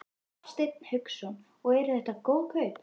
Hafsteinn Hauksson: Og eru þetta góð kaup?